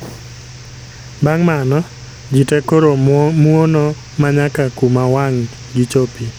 Bang' mano, ji te koro muono ma nyaka kuma wang' gi chopie